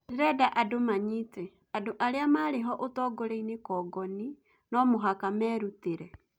Ndĩrĩnda andũ manyite: andũ arĩa marĩho ũtongoriainĩ congoni nũ mũhaka merutĩrĩ